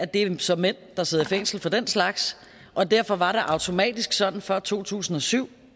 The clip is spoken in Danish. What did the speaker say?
det er så mænd der sidder i fængsel for den slags og derfor var det automatisk sådan før to tusind og syv